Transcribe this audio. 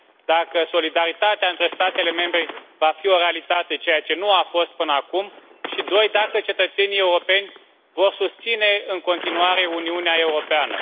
dacă solidaritatea între statele membre va fi o realitate, ceea ce nu a fost până acum, și, în al doilea rând, dacă cetățenii europeni vor susține în continuare Uniunea Europeană.